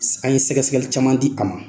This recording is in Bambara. An ye sɛgɛsɛgɛli caman di a ma.